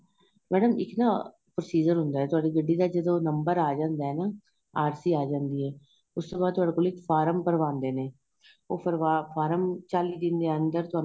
madam ਇੱਕ ਨਾ processor ਹੁੰਦਾ ਏ ਤੁਹਾਡੀ ਗੱਡੀ ਦਾ ਜਦੋਂ number ਆਂ ਜਾਂਦਾ ਏ ਨਾ RC ਆਂ ਜਾਂਦੀ ਏ ਉਸ ਤੋ ਤੁਹਾਡੇ ਤੋ ਇੱਕ ਫ਼ਾਰਮ ਭਰਵਾਦੇ ਨੇ ਉਹ ਫ਼ਾਰਮ ਚਾਲੀ ਦਿਨ ਦੇ ਅੰਦਰ